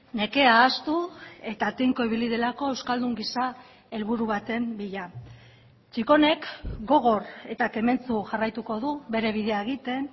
nekea ahaztu eta tinko ibili delako euskaldun gisa helburu baten bila txikonek gogor eta kementsu jarraituko du bere bidea egiten